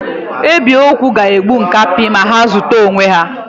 Ebi ogwu ga-egbu nkapi ma ha ozute onwe ha.